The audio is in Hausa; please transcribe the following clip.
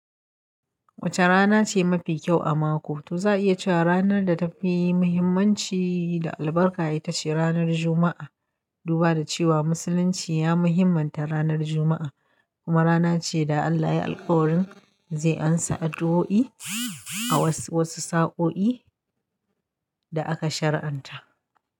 Wace rana ce mafi kyau a mako? Toh za a iya cewa ranar da ta fi muhimmanci da albarka ita ce ranar Juma'a. Duba da cewa Musulunci ya muhimanta ranar Juma'a, kuma rana ce da Allah ya alkawarin zai amsa addu'o'i a wasu sa'o'i da aka shari'anta.